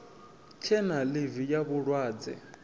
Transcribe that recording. tshe na ḽivi ya vhulwadze